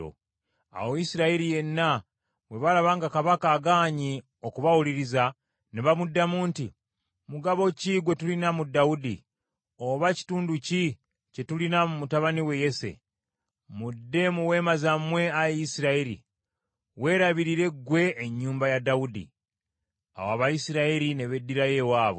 Awo Isirayiri yenna bwe baalaba nga kabaka agaanye okubawuliriza, ne bamuddamu nti, “Mugabo ki gwe tulina mu Dawudi, oba kitundu ki kye tulina mu mutabani wa Yese? Mudde mu weema zammwe ayi Isirayiri! Weerabirire ggwe ennyumba ya Dawudi.” Awo Abayisirayiri ne beddirayo ewaabwe.